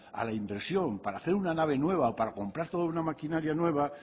a la inversión para hacer una nave nueva o para comprar toda una maquinaria nueva